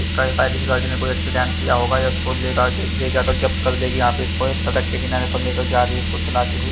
इसका सायद इस गाड़ी ने कोई एक्सीडेंट किया होगा ले जाकर जब्त कर लेगी यहा पे इसको इस सडक के किनारे से ले जा रही है इसको चलाते हुए।